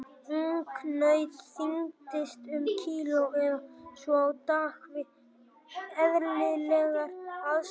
Ungnaut þyngist um kíló eða svo á dag við eðlilegar aðstæður.